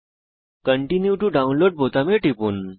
continue to download বোতামে টিপুন